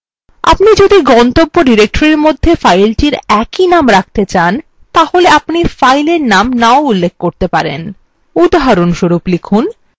আপনি যদি গন্তব্য directory মধ্যে file একই name রাখতে চান তাহলে আপনি file এর name না উল্লেখ করতে পারেন উদাহরণস্বরূপ লিখুন